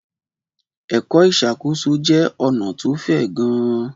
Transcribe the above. Ẹ̀kọ́ ìṣàkóso jẹ́ ọ̀nà tó fẹ̀ gan-an.